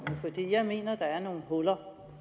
jeg mener der er nogle huller og